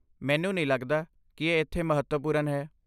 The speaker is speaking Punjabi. ਮੈਨੂੰ ਨਹੀਂ ਲੱਗਦਾ ਕਿ ਇਹ ਇੱਥੇ ਮਹੱਤਵਪੂਰਨ ਹੈ।